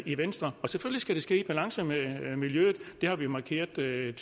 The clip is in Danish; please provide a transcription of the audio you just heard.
i venstre og selvfølgelig skal det ske i balance med miljøet det har vi markeret tydeligt